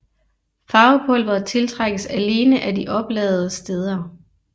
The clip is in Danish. Farvepulveret tiltrækkes alene af de opladede steder